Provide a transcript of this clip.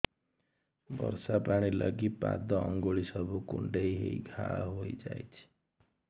ବର୍ଷା ପାଣି ଲାଗି ପାଦ ଅଙ୍ଗୁଳି ସବୁ କୁଣ୍ଡେଇ ହେଇ ଘା ହୋଇଯାଉଛି